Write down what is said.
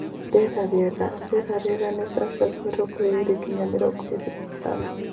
Rĩera rĩega: Rĩera rĩega nĩ C. mĩrongo ĩrĩ nginya mĩrongo ĩrĩ na ithano